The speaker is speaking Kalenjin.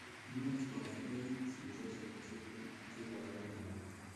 Much kokarkeit shideshek che ipporu mioni.